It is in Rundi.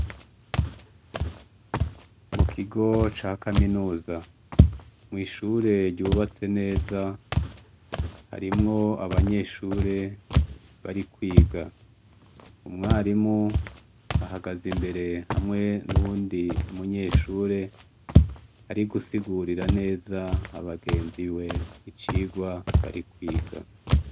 Mu kigo ca kaminuza, mw'ishure ryubatse neza, harimwo abanyeshure bari kwiga. Umwarimu ahagaze imbere hamwe n'uwundi munyeshure ari gusigurira neza abagenzi be icirwa bari kwiga.